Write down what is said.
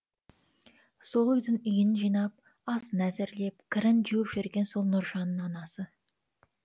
сол үйдің үйін жинап асын әзірлеп кірін жуып жүрген сол нұржанның анасы